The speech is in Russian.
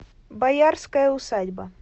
боярская усадьба